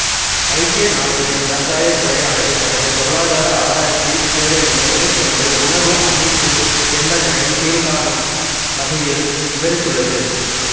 ஐக்கிய நாடுகளின் விவசாயத் துறையானது தனது பொருளாதார ஆராய்ச்சி சேவையினை மேற்கொண்டு உணவு அமைப்பு என்பதனை கீழ்க்காணூம் வகையில் விவரித்துள்ளது